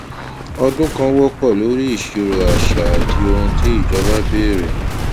ọdún kan wọpọ lórí ìṣirò àṣà àti ohun tí ìjọba béèrè